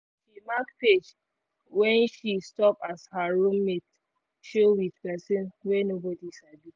she mark page wen she stop as her room mate show with pesin wey nobody sabi